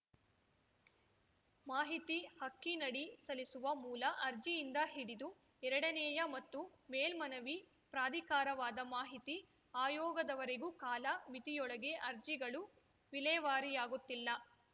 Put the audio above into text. ಮಾಹಿತಿ ಹಕ್ಕಿನಡಿ ಸಲ್ಲಿಸುವ ಮೂಲ ಅರ್ಜಿಯಿಂದ ಹಿಡಿದು ಎರಡನೇಯ ಮತ್ತು ಮೇಲ್ಮನವಿ ಪ್ರಾಧಿಕಾರವಾದ ಮಾಹಿತಿ ಆಯೋಗದವರೆಗೂ ಕಾಲ ಮಿತಿಯೊಳಗೆ ಅರ್ಜಿಗಳು ವಿಲೇವಾರಿಯಾಗುತ್ತಿಲ್ಲ